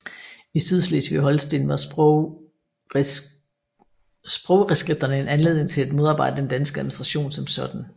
I Sydslesvig og Holsten var sprogreskripterne en anledning til at modarbejde den danske administration som sådan